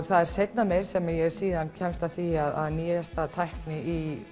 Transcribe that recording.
það er seinna meir sem ég kemst að því að nýjasta tækni í